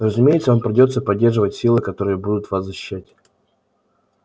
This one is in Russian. разумеется вам придётся поддерживать силы которые будут вас защищать